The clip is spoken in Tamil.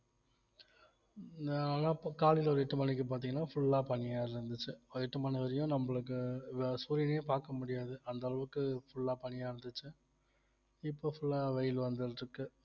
நான்லாம் இப்ப காலையில ஒரு எட்டு மணிக்கு பார்த்தீங்கன்னா full ஆ பனியா இருந்துச்சு ஒரு எட்டு மணி வரையும் நம்மளுக்கு வ~ சூரியனையே பார்க்க முடியாது அந்த அளவுக்கு full ஆ பனியா இருந்துச்சு இப்ப full ஆ வெயில் வந்துட்டு இருக்கு